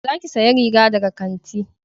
Za ki saya riga daga kanti